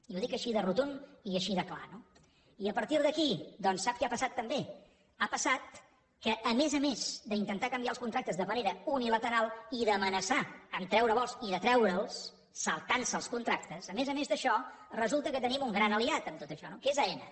i ho dic així de rotund i així de clar no i a partir d’aquí doncs sap què ha passat també ha passat que a més a més d’intentar canviar els contractes de manera unilateral i d’amenaçar amb treure vols i de treure’ls saltant se els contractes a més a més d’això resulta que tenim un gran aliat en tot això que és aena